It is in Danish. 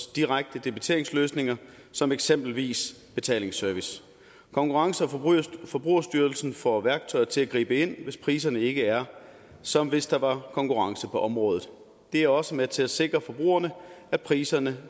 direkte debiteringsløsninger som eksempelvis betalingsservice konkurrence og forbrugerstyrelsen får værktøjer til at gribe ind hvis priserne ikke er som hvis der var konkurrence på området det er også med til at sikre forbrugerne at priserne